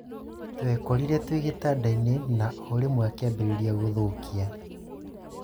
Twekorire twĩ gĩtanda-inĩ na o rĩmwe akĩambĩrĩria gũthũkia.